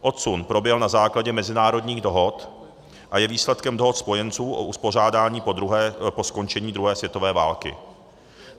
Odsun proběhl na základě mezinárodních dohod a je výsledkem dohod spojenců o uspořádání po skončení druhé světové války.